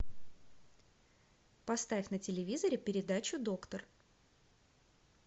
поставь на телевизоре передачу доктор